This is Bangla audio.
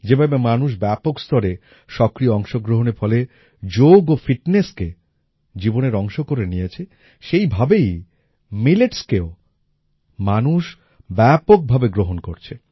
যেভাবে মানুষ ব্যাপক স্তরে সক্রিয় অংশগ্রহণের ফলে যোগ ও fitnessকে জীবনের অংশ করে নিয়েছে সেই ভাবেই মিলেটস কেও মানুষ ব্যাপকভাবে গ্রহণ করছে